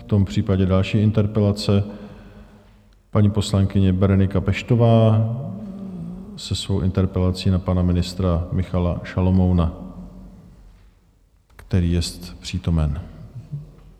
V tom případě další interpelace, paní poslankyně Berenika Peštová se svou interpelací na pana ministra Michala Šalomouna, který je přítomen.